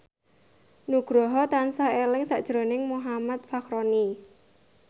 Nugroho tansah eling sakjroning Muhammad Fachroni